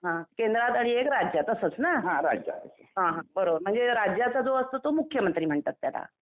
हा केंद्रात आणि एक राज्यात असंच ना हा बरोबर म्हणजे राज्यात जो असतो तो मुख्यमंत्री म्हणतात.